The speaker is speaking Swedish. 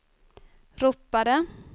ropade